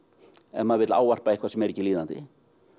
ef maður vill ávarpa eitthvað sem er ekki líðandi